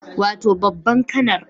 Wato babban kanar